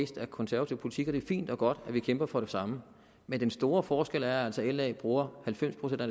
af konservativ politik det er fint og godt at vi kæmper for det samme men den store forskel er altså at la bruger halvfems procent af